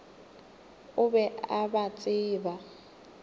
o be a ba tseba